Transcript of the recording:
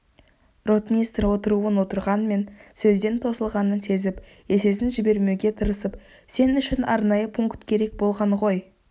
ротмистр отыруын отырғанмен сөзден тосылғанын сезіп есесін жібермеуге тырысып сен үшін арнайы пункт керек болған ғой